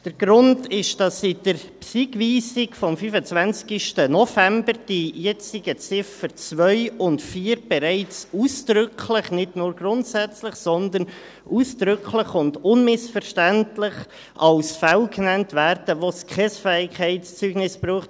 Der Grund ist, dass in der Bernischen-Systematischen-Information-Gemeinden(BSIG)-Weisung vom 25. November die jetzigen Ziffern 2 und 4 bereits ausdrücklich – nicht nur grundsätzlich – sondern ausdrücklich und unmissverständlich als Fälle genannt werden, wo es kein Fähigkeitszeugnis braucht.